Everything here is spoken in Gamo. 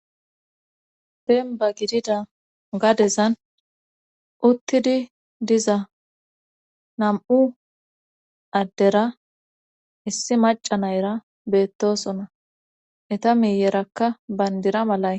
peen ba gidida gadezan uttidi diza nam7u addera issi maca nayra beettosonna eta miyerakka bayndira mala